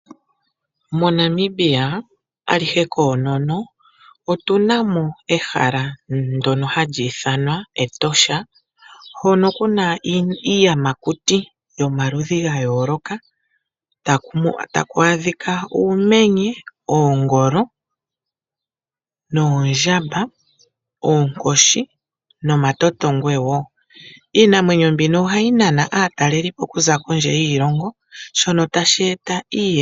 MoNamibia alihe koonono otuna mo ehala ndono hali ithanwa Etosha hono kuna iiyamakuti yomaludhi ga yooloka, tamu adhika uumenye, oongolo, noondjamba, oonkoshi nomatotongwe wo iinamwenyo mbino ohayi nana aatalelipo kuza kondje yiilongo shono tashi eta iiyemo.